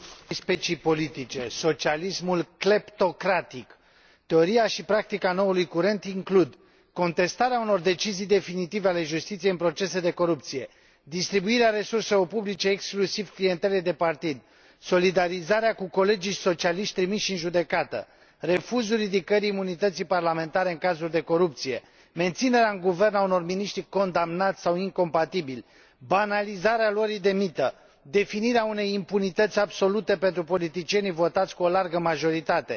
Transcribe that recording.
Specii politice, socialismul cleptocratic, teoria și practica noului curent includ contestarea unor decizii definitive ale justiției în procese de corupție, distribuirea resurselor publice exclusiv clientelei de partid, solidarizarea cu colegii socialiști trimiși în judecată, refuzul ridicării imunității parlamentare în cazuri de corupție, menținerea în guvern a unor miniștri condamnați sau incompatibili, banalizarea luării de mită, definirea unei impunități absolute pentru politicienii votați cu o largă majoritate,